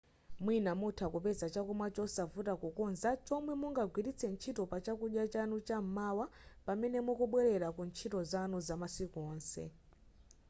mwina mutha kupeza chakumwa chosavuta kukonza chomwe mungagwiritse ntchito pa chakudya chanu cham'mawa pamene mukubwelera ku ntchito zanu zamasiku onse